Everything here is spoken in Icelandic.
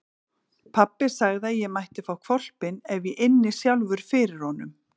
Pabbi sagði að ég mætti fá hvolpinn ef ég ynni sjálfur fyrir honum.